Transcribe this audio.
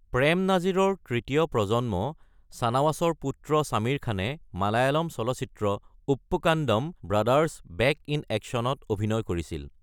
প্ৰেম নাজিৰৰ তৃতীয় প্ৰজন্ম চানৱাছৰ পুত্ৰ শামীৰ খানে মালয়ালম চলচিত্ৰ Uppukandam brothers back in action ত অভিনয় কৰিছিল।